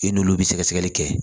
I n'olu bɛ sɛgɛsɛgɛli kɛ